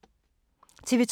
TV 2